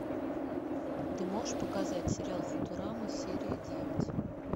ты можешь показать сериал футурама серия девять